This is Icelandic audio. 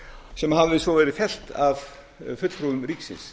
sem haf i svo verið fellt af fulltrúum ríkisins